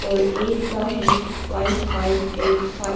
और एक का है फाइव फाइव एट फाइव --